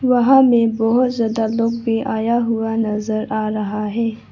वहां में बहुत ज्यादा लोग भी आया हुआ नजर आ रहा है।